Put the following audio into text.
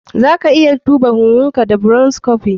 Zaka iya duba huhunka da bronchoscopy.